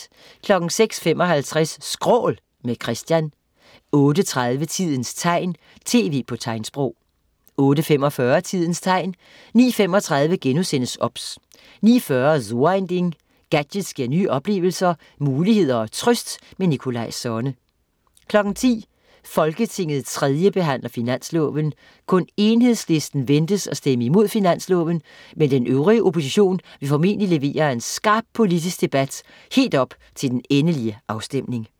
06.55 Skrål, med Christian 08.30 Tidens tegn, tv på tegnsprog 08.45 Tidens tegn 09.35 OBS* 09.40 So ein Ding. Gadgets giver nye oplevelser, muligheder og trøst. Nikolaj Sonne 10.00 Folketinget 3. behandler finansloven. Kun Enhedslisten ventes at stemme imod finansloven, men den øvrige opposition vil formodentlig levere skarp politisk debat helt op til den endelige afstemning